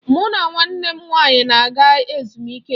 Mụ na nwanne m nwaanyị n'aga ezumike.